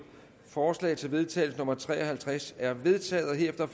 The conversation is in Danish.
forslag til vedtagelse nummer v tre og halvtreds er vedtaget herefter